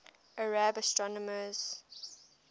arab astronomers